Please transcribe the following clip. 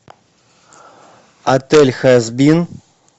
отель хазбин